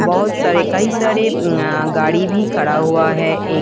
बहुत सारे कई सारे गाड़ी भी खड़ा हुआ है एक--